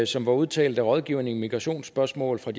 som er udtalt af rådgiveren i migrationsspørgsmål fra